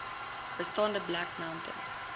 bestaande black mountain